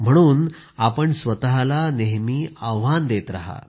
म्हणून आपण स्वतःला नेहमी आव्हान देत रहा